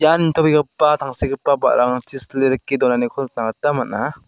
ian nitobegipa tangsekgipa ba·rarangchi sile rike donaniko nikna gita man·a.